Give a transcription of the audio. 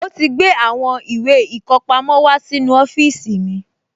Ó ti gbé àwọn ìwé ìkọpamọ́ wá sínú ọ́fíìsì mi